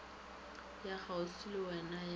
ya kgauswi le wena ya